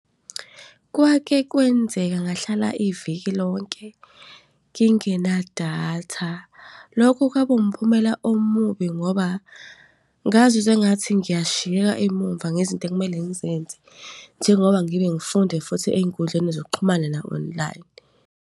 Kwake kwenzeka ngahlala iviki lonke ngingenadatha. Lokhu kwakumphumela omubi, ngoba ngazizwa engathi ngiyashiyeka emumva ngezinto ekumele ngizenze. Njengoba ngibe ngifunde futhi ey'nkundleni zokuxhumana na-online.